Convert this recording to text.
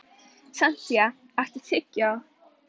Santía, áttu tyggjó?